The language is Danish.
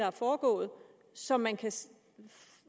er foregået så man kan